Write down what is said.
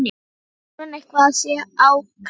Nei, þá grunar að eitthvað sé á kreiki.